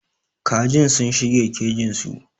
Kajin sun shige kejin su.